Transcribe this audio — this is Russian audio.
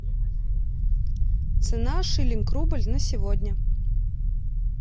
цена шиллинг рубль на сегодня